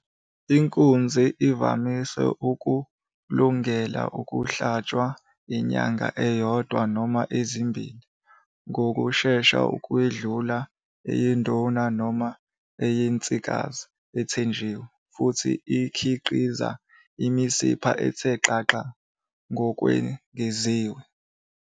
Inkunzi ivamise ukulungela ukuhlatshwa inyanga eyodwa noma ezimbili ngokushesha ukwedlula eyeduna noma eyensikazi ethenjiwe, futhi ikhiqiza imisipha ethe xaxa ngokwengeziwe.